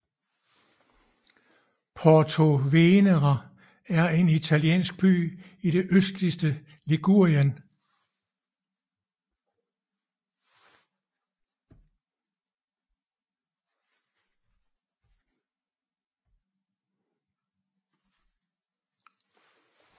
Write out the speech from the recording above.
Portovenere er en italiensk by i det østligste Ligurien